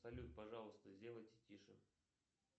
салют пожалуйста сделайте тише